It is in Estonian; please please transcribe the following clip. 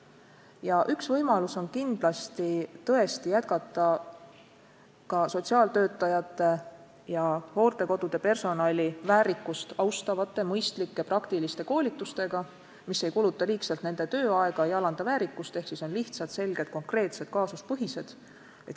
Ja üks võimalus on kindlasti tõesti jätkata ka sotsiaaltöötajate ja hooldekodude personali väärikust austavaid, mõistlikke praktilisi koolitusi, mis ei kuluta liigselt nende tööaega, ei alanda nende väärikust ehk siis on lihtsad, selged, konkreetsed, kaasuspõhised.